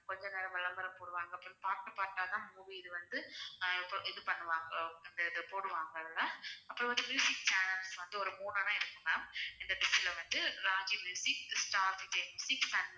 கொஞ்ச நேரம் விளம்பரம் போடுவாங்க அப்புறம் part part ஆ தான் movie இது வந்து அஹ் இப்போ இது பண்ணுவாங்க இந்த இது போடுவாங்க அதுல அப்புறம் வந்து channels வந்து ஒரு மூணுன்னா இருக்கும் ma'am இந்த dish ல வந்து Raj Music, Star Vijay music